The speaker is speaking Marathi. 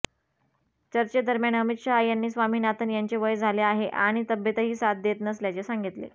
चर्चेदरम्यान अमित शहा यांनी स्वामीनाथन यांचे वय झाले आहे आणि तब्येतही साथ देत नसल्याचे सांगितले